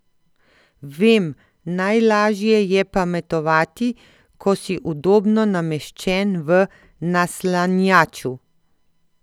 Vem, najlažje je pametovati, ko si udobno nameščen v naslanjaču.